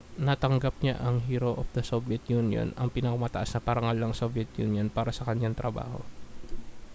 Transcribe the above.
natanggap niya ang hero of the soviet union ang pinakamataas na parangal ng soviet union para sa kanyang trabaho